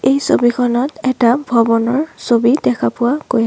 এই ছবিখনত এটা ভৱনৰ ছবি দেখা পোৱা গৈ আ --